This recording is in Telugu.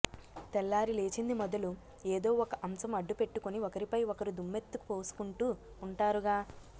తెల్లారి లేచింది మొదలు ఏదో ఒక అంశం అడ్డుపెట్టుకుని ఒకరిపై ఒకరు దుమ్మెత్తుకు పోసుకుంటూ ఉంటారుగా